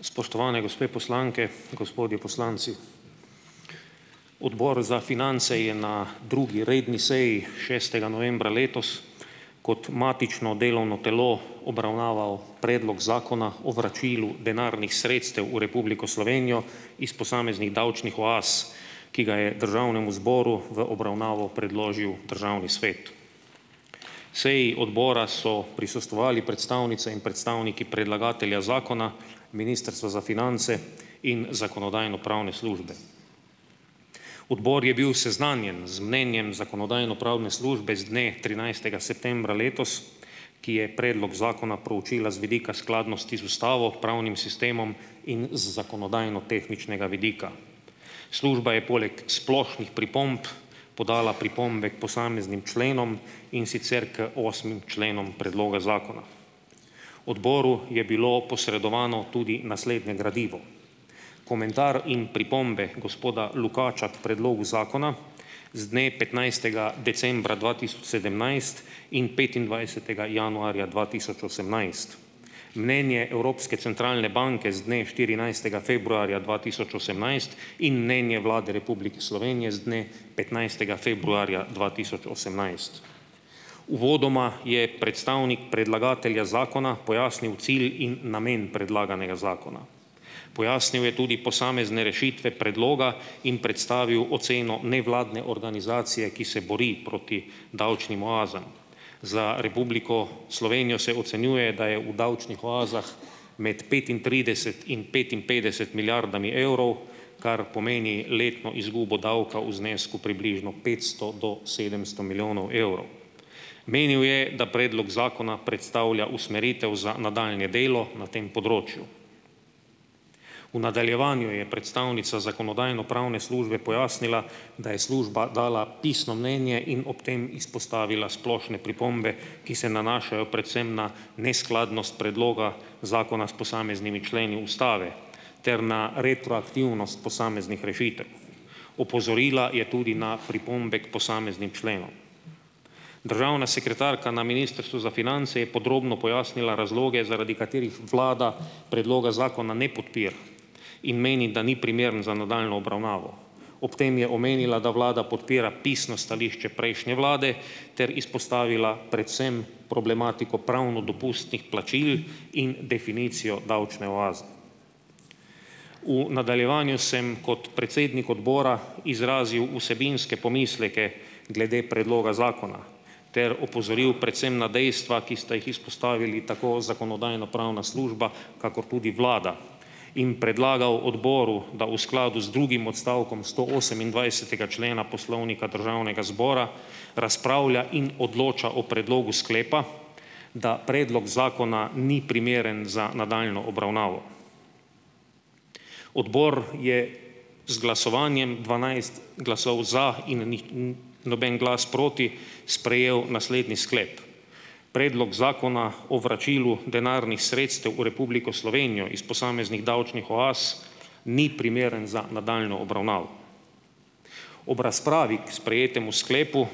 Spoštovane gospe poslanke, gospodje poslanci! Odbor za finance je na drugi redni seji šestega novembra letos kot matično delovno telo obravnaval predlog zakona o vračilu denarnih sredstev v Republiko Slovenijo iz posameznih davčnih oaz, ki ga je državnemu zboru v obravnavo predložil državni svet. Seji odbora so prisostvovali predstavnice in predstavniki predlagatelja zakona, Ministrstvo za finance in Zakonodajno-pravne službe. Odbor je bil seznanjen z mnenjem Zakonodajno-pravne službe z dne trinajstega septembra letos, ki je predlog zakona proučila z vidika skladnosti z ustavo, pravnim sistemom in z zakonodajnotehničnega vidika. Služba je poleg splošnih pripomb podala pripombe k posameznim členom, in sicer k osmim členom predloga zakona. Odboru je bilo posredovano tudi naslednje gradivo. Komentar in pripombe gospoda Lukača k predlogu zakona z dne petnajstega decembra dva tisoč sedemnajst in petindvajsetega januarja dva tisoč osemnajst. Mnenje Evropske centralne banke z dne štirinajstega februarja dva tisoč osemnajst in mnenje Vlade Republike Slovenije z dne petnajstega februarja dva tisoč osemnajst. Uvodoma je predstavnik predlagatelja zakona pojasnil cilj in namen predlaganega zakona. Pojasnil je tudi posamezne rešitve predloga in predstavil oceno nevladne organizacije, ki se bori proti davčnim oazam. Za Republiko Slovenijo se ocenjuje, da je v davčnih oazah med petintrideset in petinpetdeset milijardami evrov, kar pomeni letno izgubo davka v znesku približno petsto do sedemsto milijonov evrov. Menil je, da predlog zakona predstavlja usmeritev za nadaljnje delo na tem področju. V nadaljevanju je predstavnica Zakonodajno-pravne službe pojasnila, da je služba dala pisno mnenje in ob tem izpostavila splošne pripombe, ki se nanašajo predvsem na neskladnost predloga zakona s posameznimi členi ustave ter na retroaktivnost posameznih rešitev. Opozorila je tudi na pripombe k posameznim členom. Državna sekretarka na Ministrstvu za finance je podrobno pojasnila razloge, zaradi katerih vlada predloga zakona ne podpira in meni, da ni primeren za nadaljnjo obravnavo. Ob tem je omenila, da vlada podpira pisno stališče prejšnje vlade ter izpostavila predvsem problematiko pravno dopustnih plačil in definicijo davčne oaze. V nadaljevanju sem kot predsednik odbora izrazil vsebinske pomisleke glede predloga zakona ter opozoril predvsem na dejstva, ki sta jih izpostavili tako Zakonodajno-pravna služba, kakor tudi vlada in predlagal odboru, da v skladu z drugim odstavkom stoosemindvajsetega člena Poslovnika Državnega zbora razpravlja in odloča o predlogu sklepa, da predlog zakona ni primeren za nadaljnjo obravnavo. Odbor je z glasovanjem dvanajst glasov za in nih, noben glas proti sprejel naslednji sklep. Predlog Zakona o vračilu denarnih sredstev v Republiko Slovenijo iz posameznih davčnih oaz ni primeren za nadaljnjo obravnavo. Ob razpravi k sprejetemu sklepu